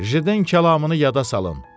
Jden kəlamını yada salın.